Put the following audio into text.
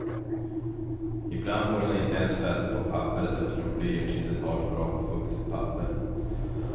Ibland får den inte ens fäste på papperet eftersom blyerts inte tar så bra på fuktigt papper.